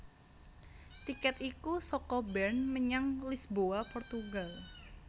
Tikèt iku saka Bern menyang Lisboa Portugal